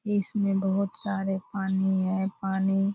इसमें बहुत सारे पानी है पानी --